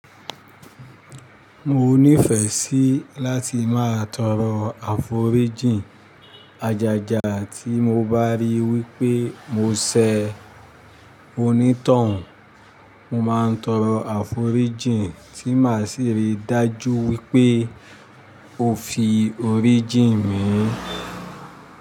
Mo nífẹ̀ẹ́ sí láti máa tọrọ àforíjìn àjájà tí mo bá rí wípé mo ṣẹ onítọ̀hún, mo máa ń tọrọ àforíjìn tí máa sì rí dájú wípé o fi oríjìn míì.